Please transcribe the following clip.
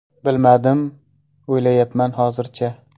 Bilmadim, o‘ylayapman hozircha.